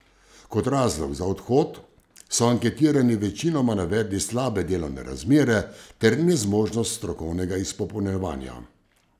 Kot razlog za odhod so anketirani večinoma navedli slabe delovne razmere ter nezmožnost strokovnega izpopolnjevanja.